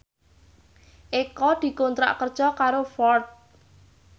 Eko dikontrak kerja karo Ford